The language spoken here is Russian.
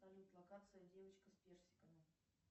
салют локация девочка с персиками